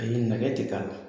Ayi nɛgɛ tɛ k'a la